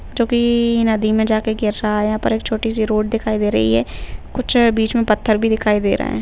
जोकी-की नदी में में जाके गिर रहा है यहाँ पे एक छोटी सी रोड दिखाई दे रही है कुछ बीच में पत्थर भी दिखाई दे रहे हैं।